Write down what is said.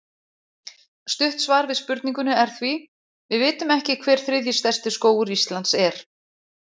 Stutt svar við spurningunni er því: Við vitum ekki hver þriðji stærsti skógur Íslands er.